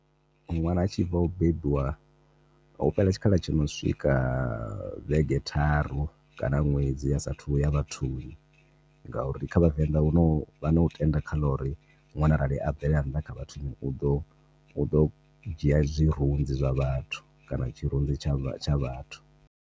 Nwana a tshi bva u bebiwa hu fhela tshikhala tsho no swika vhege tharu kana ṅwedzi asathu ya vhathuni ngauri kha vhavenḓa huna vha no tenda kha ḽa uri nwana a bvela nnḓa kha vhathuni u ḓo u ḓo dzhia zwirunzi zwa vhathu kana tshirunzi tsha vhathu.